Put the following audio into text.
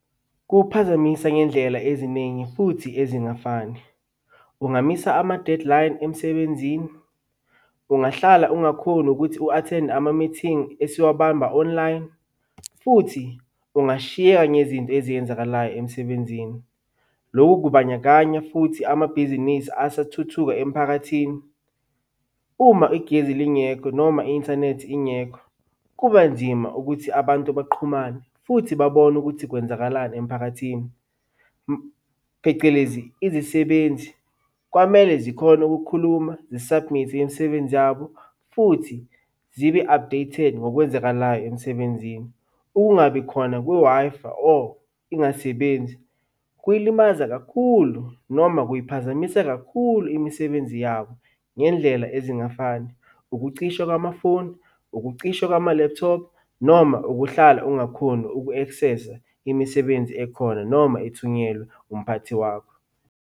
Kuwuphazamisa ngendlela eziningi futhi ezingafani. Ungamisa ama-deadline emsebenzini. Ungahlala ungakhoni ukuthi u-athende amamithingi esuwabamba online, futhi ungashiyeka ngezinto eziyenzakalayo emsebenzini. Lokhu kubandakanya futhi amabhizinisi asathuthuka emphakathini. Uma igezi lingekho noma i-inthanethi ingekho, kuba nzima ukuthi abantu baqhumane futhi babone ukuthi kwenzakalani emphakathini. Phecelezi izisebenzi kwamele zikhone ukukhuluma zi-submit-e imisebenzi yabo, futhi zibe-updated ngokwenzakalayo emsebenzini. Ukungabi khona kwe-Wi-Fi or ingasebenzi kuyilimaza kakhulu noma kuyiphazamisa kakhulu imisebenzi yabo ngendlela ezingafani. Ukucishwa kwamafoni, ukucishwa kwama-laptop, noma ukuhlala ungakhoni uku-access-a imisebenzi ekhona noma ethunyelwe umphathi wakho.